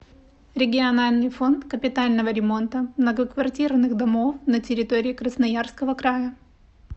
региональный фонд капитального ремонта многоквартирных домов на территории красноярского края